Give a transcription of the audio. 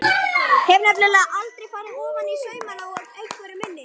Hef nefnilega aldrei farið ofaní saumana á einveru minni.